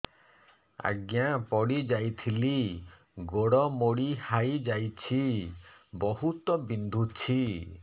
ଆଜ୍ଞା ପଡିଯାଇଥିଲି ଗୋଡ଼ ମୋଡ଼ି ହାଇଯାଇଛି ବହୁତ ବିନ୍ଧୁଛି